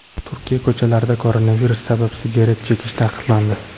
Turkiya ko‘chalarida koronavirus sabab sigaret chekish taqiqlandi.